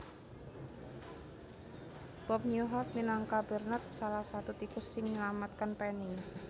Bob Newhart minangka Bernard salah satu tikus sing menyelamatkan Penny